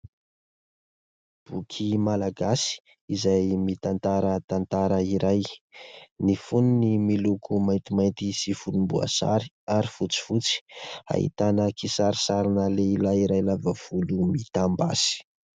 Boky malagasy izay mitantara tantara iray. ny fonony miloko maintimainty sy volomboasary ary fotsifotsy ; ahitana kisarisarina lehilahy iray lava volo mitambasy.